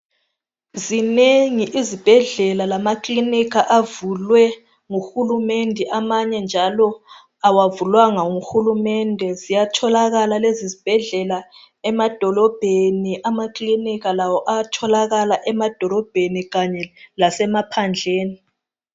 Zinengi izibhedlela lamakilinika avulwe nguhulumende amanye njalo awavulwanga nguhulumende ziyatholakala lezizibhedlela emadolobheni amakilinika lawo ayatholakala emadolobheni kanye lasemaphandleni.